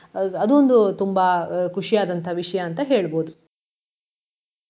ಅದೊಂದು ತುಂಬಾ ಖುಷಿಯಾದಂತಹ ವಿಷಯ ಅಂತ ಹೇಳ್ಬೋದು.